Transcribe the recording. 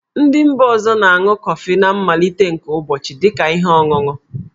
Ndị mba ọzọ na-aṅụ kọfị na mmalite nke ụbọchị dị ka ihe ọṅụṅụ.